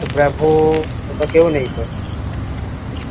bravo তা কেউ নেই তো